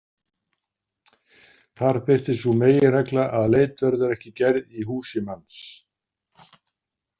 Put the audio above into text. Þar birtist sú meginregla að leit verður ekki gerð í húsi manns.